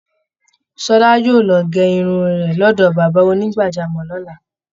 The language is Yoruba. Ṣọla yóò lọ gẹ irun rẹ̀ lọ́dọ̀ bàbá onígbàjámọ̀ lọ́la